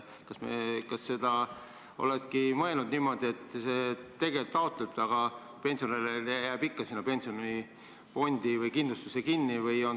Kas see ongi mõeldud niimoodi, et osakuomanik võib küll väljamakset taotleda, aga tema raha jääb ikka sinna pensionifondi või kindlustusse kinni?